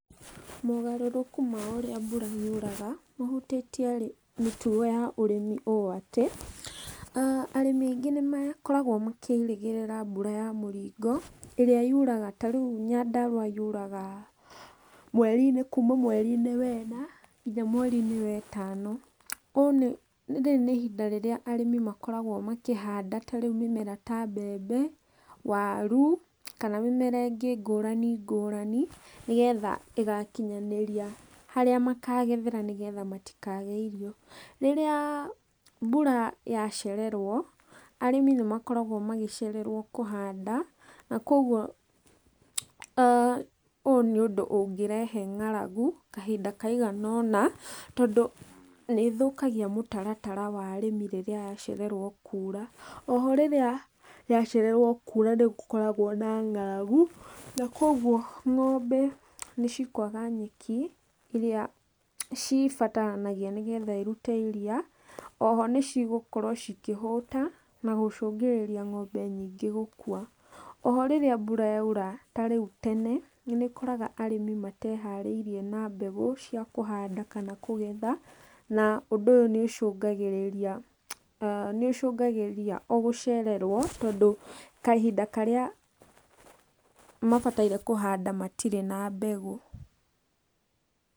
Mogarũrũku ma ũrĩa mbura yuraga, ũhutĩtie mĩtugo ya ũrĩmi ũũ atĩ, arĩmi aingĩ nĩmakoragwo makĩrĩgĩrĩra mbura ya mũringo, ĩrĩa yuraga, tarĩu Nyandarũa yuraga mweri-inĩ, kuuma mweri wena, nginya mweri-inĩ wetano, ũũ nĩ, rĩrĩ nĩ ihinda rĩrĩa arĩmi makoragwo makĩhanda tarĩu mĩmera ta mbembe, waru, kana mĩmera ĩngĩ ngũrani ngũrani, nĩgetha ĩgakinyanĩria harĩa makagethera nĩguo matikage irio. Rĩrĩa mbura yacererwo, arĩmi nĩmakoragwo magĩcererwo kũhanda, nakoguo, ũũ nĩ ũndũ ũngĩrehe ng'aragu, kahinda kaigana ona, tondũ nĩĩthũkagia mũtaratara wa arĩmi, rĩrĩa yacererwo kuura. Oho rĩrĩa yacererwo kuura nĩ gũkoragwo na ng'aragu, na koguo ng'ombe nĩ cikũaga nyeki, ĩrĩa cibataranagia nĩguo cirute iria, oho, nĩ cigũkorwo cikĩhũta, na gũcũngĩrĩria ng'ombe nyingĩ gũkua. Oho rĩrĩa mbura yaura tarĩu tene, nĩũkoraga arĩmi mateharĩirie na mbegũ cia kũhanda kana kũgetha, na ũndũ ũyũ nĩ ũcũngagĩrĩria, nĩũcũngagĩrĩria o gũcererwo, tondũ kahinda karĩa mabataire kũhanda matirĩ na mbegũ.